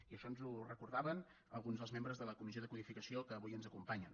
i això ens ho recordaven alguns dels membres de la comissió de codificació que avui ens acompanyen